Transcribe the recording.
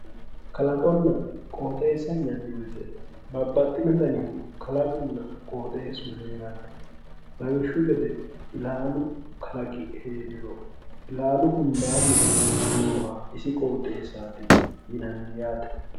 kalaqonna qooxeessa yinanni wote babbaxinohu kalaqunna qooxeessu heeranno lawishshu gede ilaalu kalaqi heeriro ilaalu hundaanni nooha isi qooxeessaati yiannni yaate.